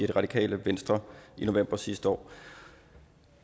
det radikale venstre i november sidste år